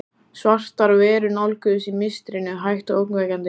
Svartar verur nálguðust í mistrinu, hægt og ógnvekjandi.